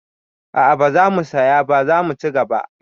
A'a, ba zamu saya ba, zamu ci gaba